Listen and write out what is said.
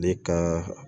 Ale ka